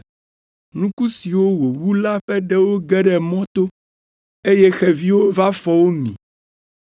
Nuku siwo wòwu la ƒe ɖewo ge ɖe mɔto, eye xeviwo va fɔ wo mi.